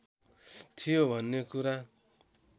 थियो भन्ने कुरा